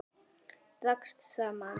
Dragast saman.